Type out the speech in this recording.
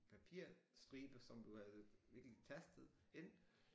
Papirstribe som du havde virkelig tastet ind